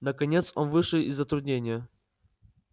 наконец он вышел из затруднения